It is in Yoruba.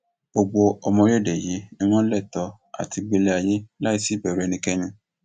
gbogbo ọmọ orílẹèdè yìí ni wọn lẹtọọ láti gbélé ayé láì sí ìbẹrù ẹnikẹni